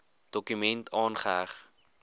dokument aangeheg